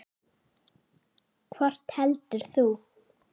Hvort velur þú?